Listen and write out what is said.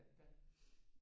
Det er det da